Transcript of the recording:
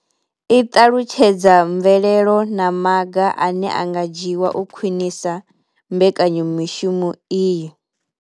I ṱalutshedza mvelelo na maga ane a nga dzhiwa u khwinisa mbekanya mushumo iyi.